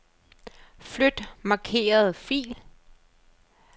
Flyt markerede fil.